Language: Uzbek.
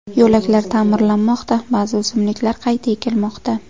Yo‘laklar ta’mirlanmoqda, ba’zi o‘simliklar qayta ekilmoqda.